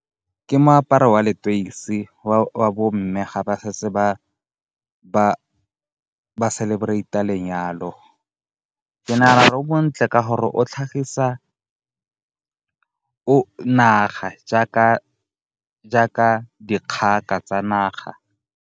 Ke moaparo wa letoisi wa bomme ga ba setse ba celebrate-a lenyalo. Ke nagana gore o montle ka gore o tlhagisa naga jaaka dikgaka tsa naga.